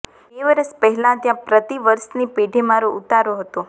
બે વરસ પહેલાં ત્યાં પ્રતિવર્ષની પેઠે મારો ઉતારો હતો